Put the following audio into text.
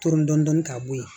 Ton dɔn ka bo ye